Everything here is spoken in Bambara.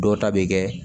Dɔw ta bɛ kɛ